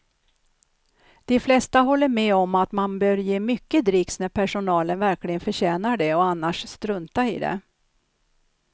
De flesta håller med om att man bör ge mycket dricks när personalen verkligen förtjänar det och annars strunta i det.